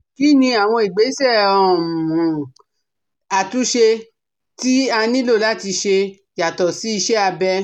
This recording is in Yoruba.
Kí ni àwọn ìgbésẹ̀ um àtúnṣe tí a nílò láti ṣe yàtọ̀ sí iṣẹ́ abẹ?